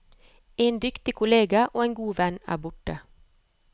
En dyktig kollega og en god venn er borte.